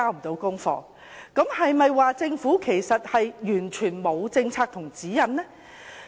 這是否表示政府完全沒有政策和指引呢？